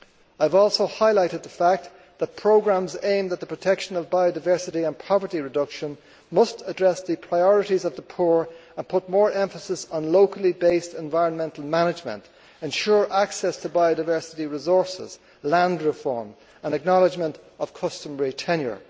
I have also highlighted the fact that programmes aimed at the protection of biodiversity and poverty reduction must address the priorities of the poor and put more emphasis on locally based environmental management, ensure access to biodiversity resources, land reform, and acknowledgement of customary tenure.